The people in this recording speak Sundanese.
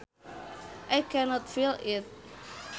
I cannot feel it